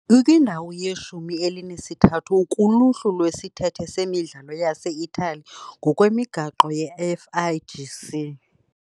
Ikwindawo yeshumi elinesithathu kuluhlu lwesithethe semidlalo yase-Italiya ngokwemigaqo ye- FIGC .